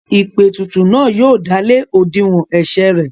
Ìpètùtù náà yóò dálé òdiwọ̀n ẹ̀sẹ̀ rẹ̀.